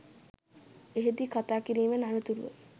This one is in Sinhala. එහිදී කතා කිරීමෙන් අනතුරුව